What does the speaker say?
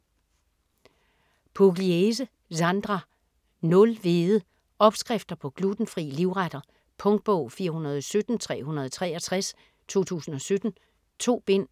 Pugliese, Sandra: Nul hvede Opskrifter på glutenfri livretter. Punktbog 417363 2017. 2 bind.